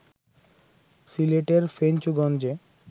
সিলেটের ফেঞ্চুগঞ্জে